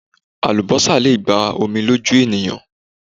Àlúbósà le gba omi lójú ènìyàn